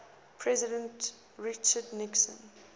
president richard nixon